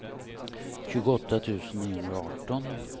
tjugoåtta tusen niohundraarton